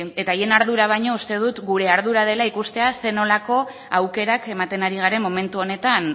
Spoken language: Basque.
eta haien ardura baino uste dut gure ardura dela ikustea zein nolako aukerak ematen ari garen momentu honetan